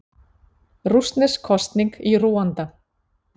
Rússnesk kosning í Rúanda